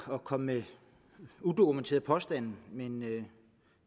at komme med udokumenterede påstande men jeg